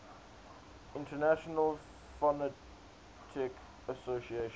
international phonetic association